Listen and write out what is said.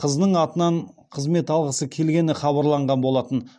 қызының атынан қызмет алғысы келгені хабарланған болатын